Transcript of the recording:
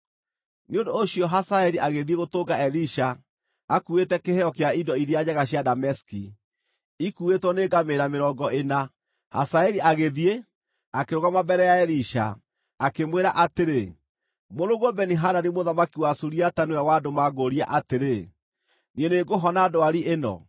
Nĩ ũndũ ũcio Hazaeli agĩthiĩ gũtũnga Elisha, akuuĩte kĩheo kĩa indo iria njega cia Dameski, ikuuĩtwo nĩ ngamĩĩra mĩrongo ĩna. Hazaeli agĩthiĩ, akĩrũgama mbere ya Elisha, akĩmwĩra atĩrĩ, “Mũrũguo Beni-Hadadi mũthamaki wa Suriata nĩwe wandũma ngũũrie atĩrĩ, ‘Niĩ nĩngũhona ndwari ĩno?’ ”